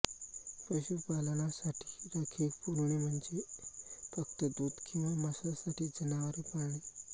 पशुपालनासाठी राखीव कुरणे म्हणजे फक्त दूध किंवा मांसासाठी जनावरे पाळणे